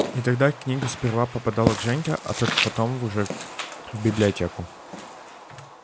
и тогда книга сперва попадала к женьке а только потом уже в библиотеку